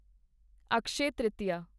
Akshay Tritiya